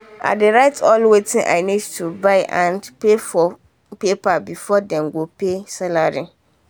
i dey write all wetin i need to buy and pay for for paper before them go pay salary